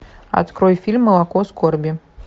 открой фильм молоко скорби